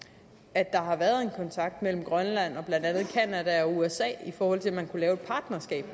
at der har været en kontakt mellem grønland og blandt andet canada og usa i forhold til at man kunne lave et partnerskab